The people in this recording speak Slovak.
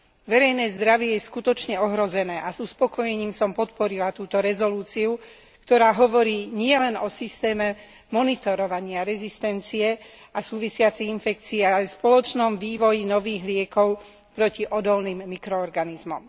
Verejné zdravie je skutočne ohrozené a s uspokojením som podporila túto rezolúciu, ktorá hovorí nielen o systéme monitorovania rezistencie a súvisiacich infekcií, ale aj spoločnom vývoji nových liekov proti odolným mikroorganizmom.